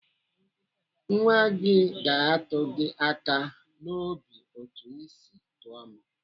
Nwa gị ga-atụ gị aka n'obi otu ị si tọọ m.